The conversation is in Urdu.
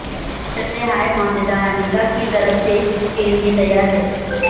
ریاست ہائے متحدہ امریکہ کی طرف سے اس کے لئے تیار ہیں